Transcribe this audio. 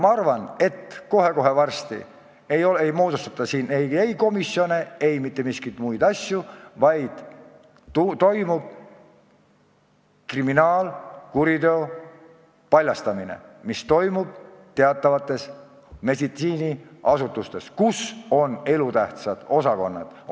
Ma arvan, et kohe-kohe varsti ei moodustata siin komisjone ega mingeid muid asjandusi, vaid saab teoks kriminaalkuriteo paljastamine ja me saame teada, mis toimub teatavates meditsiiniasutustes, kus on elutähtsad osakonnad.